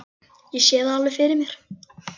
Ég sé það alveg fyrir mér.